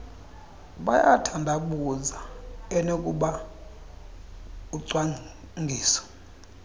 bayathandabuza enoba ucwangiso